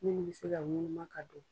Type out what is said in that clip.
Minnu bɛ se ka ŋunuma ka don.